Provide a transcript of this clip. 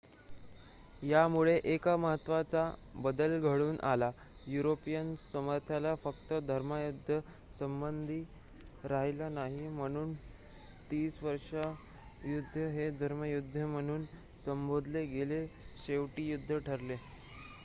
यामुळे एक महत्त्वाचा बदल घडून आला युरोपियन सामर्थ्याला फक्त धर्मयुद्धांचा संबंध राहिला नाही म्हणून तीसवर्षीय युद्ध हे धर्मयुद्ध म्हणून संबोधले गेलेले शेवटचे युद्ध ठरले